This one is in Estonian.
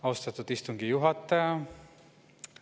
Austatud istungi juhataja!